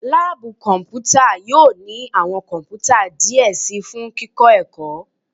Laabu kọnputa yoo ni awọn kọnputa diẹ sii fun kikọ ẹkọ